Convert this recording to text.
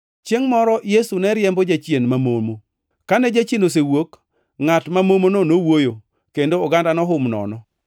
Chiengʼ moro Yesu ne riembo jachien mamomo. Kane jachien osewuok, ngʼat ma momono nowuoyo, kendo oganda nohum nono.